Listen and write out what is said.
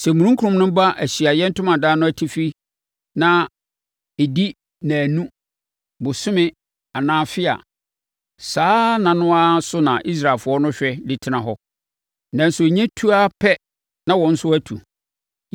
Sɛ omununkum no ba Ahyiaeɛ Ntomadan no atifi na ɛdi nnanu, bosome anaa afe a, saa nna no ara so na Israelfoɔ no hwɛ de tena hɔ. Nanso ɛnya tu ara pɛ, na wɔn nso atu.